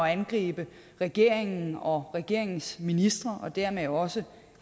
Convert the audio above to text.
at angribe regeringen og regeringens ministre og dermed også